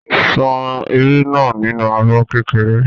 Ṣan irú náà nínú abọ́ kékeré.